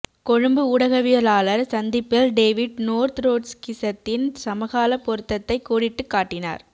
கொழும்பு ஊடகவியலாளர் சந்திப்பில் David North ட்ரொட்ஸ்கிசத்தின் சமகால பொருத்தத்தை கோடிட்டுக் காட்டினார்